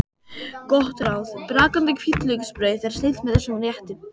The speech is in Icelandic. Gott ráð: Brakandi hvítlauksbrauð er snilld með þessum rétti.